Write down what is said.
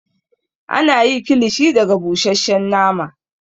Ana yi kilishi daga busheshshen nama